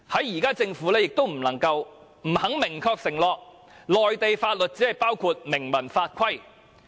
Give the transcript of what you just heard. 現時政府不能夠解釋，亦不肯明確承諾，內地法律是否只包括明文法規。